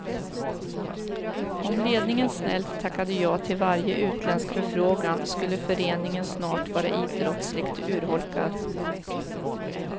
Om ledningen snällt tackade ja till varje utländsk förfrågan skulle föreningen snart vara idrottslig urholkad.